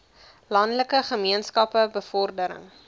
landelike gemeenskappe bevordering